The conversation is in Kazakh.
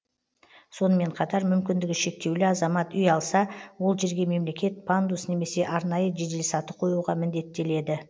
сонымен қатар мүмкіндігі шектеулі азамат үй алса ол жерге мемлекет пандус немесе арнайы жеделсаты қоюға міндеттеледі